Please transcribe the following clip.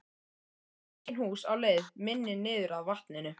Engin hús á leið minni niður að vatninu.